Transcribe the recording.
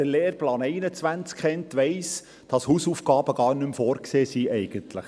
Wer den Lehrplan 21 kennt, weiss, dass Hausaufgaben gar nicht mehr vorgesehen sind.